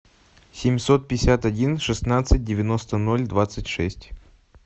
семьсот пятьдесят один шестнадцать девяносто ноль двадцать шесть